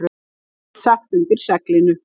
heyrðist sagt undir seglinu.